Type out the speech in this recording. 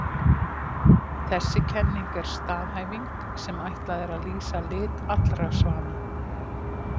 Þessi kenning er staðhæfing sem ætlað er að lýsa lit allra svana.